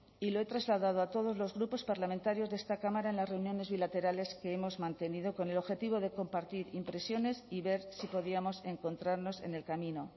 y lo he trasladado a todos los grupos parlamentarios de esta cámara en las reuniones bilaterales que hemos mantenido con el objetivo de compartir impresiones y ver si podíamos encontrarnos en el camino